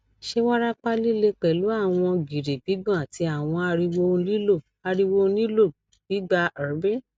ṣe warapa lile pẹlu awọn giri gbigbọn ati awọn ariwo ohun nilo ariwo ohun nilo gbigba er bi